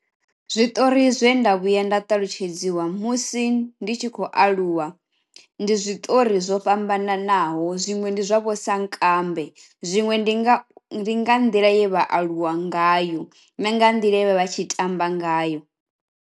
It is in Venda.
Zwiṱori zwe nda vhuya nda ṱalutshedziwa musi ndi tshi khou aluwa, ndi zwiṱori zwo fhambananaho zwiṅwe ndi zwavho sankambe, zwiṅwe ndi nga nḓila ye vha aluwa ngayo na nga nḓila ye vha vha tshi tamba ngayo.